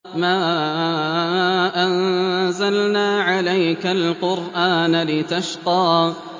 مَا أَنزَلْنَا عَلَيْكَ الْقُرْآنَ لِتَشْقَىٰ